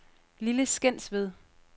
Lille Skensved